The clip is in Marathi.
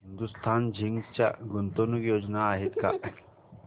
हिंदुस्तान झिंक च्या गुंतवणूक योजना आहेत का